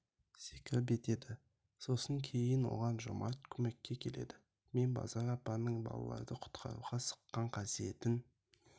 секіріпк етеді сосын кейін оған жомарт көмекке келеді мен базар апаның балалрды құтқаруға сыққан қасиетін